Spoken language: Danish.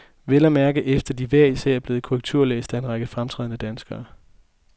Vel at mærke efter de hver især er blevet korrekturlæst af en række fremtrædende danskere.